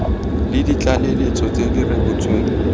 le ditlaleletso tse di rebotsweng